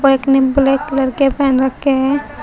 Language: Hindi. एक ने ब्लैक कलर के पहन रखे हैं।